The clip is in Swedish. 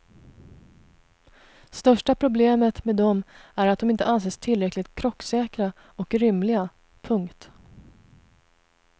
Största problemet med dem är att de inte anses tillräckligt krocksäkra och rymliga. punkt